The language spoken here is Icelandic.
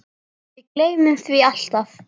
Við gleymum því alltaf